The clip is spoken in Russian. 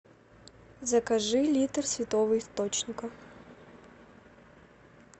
закажи литр святого источника